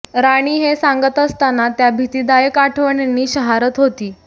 राणी हे सांगत असताना त्या भीतीदायक आठवणींनी शहारत होती